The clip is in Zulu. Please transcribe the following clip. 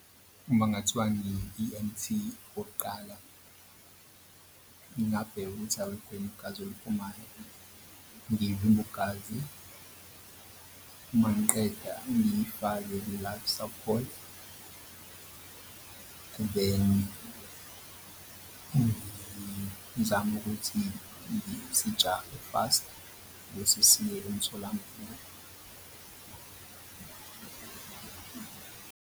Uma kungathiwa ngi-E_M_T okokuqala, ngingabheka ukuthi alikho yini igazi eliphumayo, ngivimbe ugazi uma ngiqeda ngifake i-life support then ngizame ukuthi sijahe fast bese siye emtholampilo.